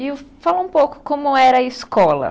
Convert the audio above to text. E fala um pouco como era a escola.